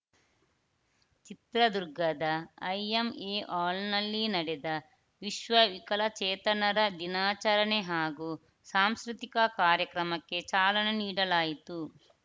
ಚಿತ್ರದುರ್ಗದ I M A ಹಾಲ್‌ನಲ್ಲಿ ನಡೆದ ವಿಶ್ವವಿಕಲಚೇತನರ ದಿನಾಚರಣೆ ಹಾಗೂ ಸಾಂಸ್ಕೃತಿಕ ಕಾರ್ಯಕ್ರಮಕ್ಕೆ ಚಾಲನೆ ನೀಡಲಾಯಿತು